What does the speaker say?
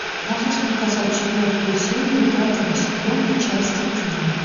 можешь показать четвертую серию пятого сезона части тела